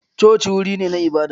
Coci wuri ne na ibada.